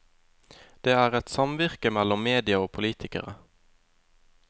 Det er et samvirke mellom media og politikere.